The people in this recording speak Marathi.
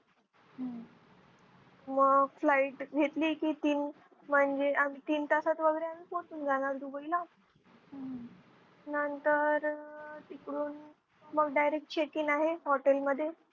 व Flight घेतली की तीन म्हनजे आम्ही तीन तासात वगैरे आम्ही पोचून जाणार दुबईला नंतर तिकडून मग Direct check-in आहे hotel मध्ये